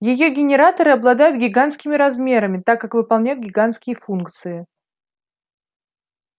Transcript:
её генераторы обладают гигантскими размерами так как выполняют гигантские функции